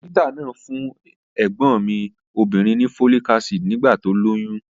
Dókítà náà fún ẹ̀gbọ́n mi obìnrin ní folic acid nígbà tó lóyún